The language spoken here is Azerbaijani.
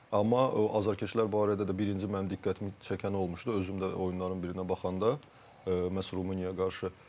Amma azarkeşlər barədə də birinci mənim diqqətimi çəkən olmuşdu, özüm də oyunların birinə baxanda məhz Rumıniyaya qarşı.